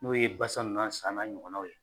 N'o ye basa n'a sa n'a ɲɔgɔnnaw ye